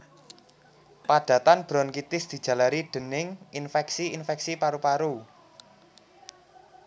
Padatan bronkitis dijalari dèning infèksi infèksi paru paru